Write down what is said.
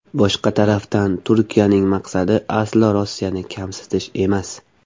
Boshqa tarafdan, Turkiyaning maqsadi aslo Rossiyani kamsitish emas.